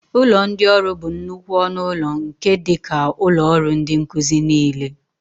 Ụlọ ndị ọrụ bụ nnukwu ọnụ ụlọ nke dị ka ụlọ ọrụ ndị nkuzi niile.